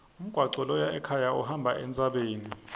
umgwaco loya ekhaya uhamba entsabeni